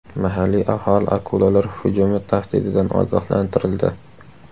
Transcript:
Mahalliy aholi akulalar hujumi tahdididan ogohlantirildi.